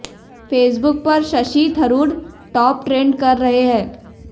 Facebook पर Shashi Tharoor top trend कर रहे हैं